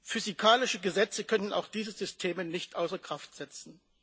Physikalische Gesetze können auch diese Systeme nicht außer Kraft setzen.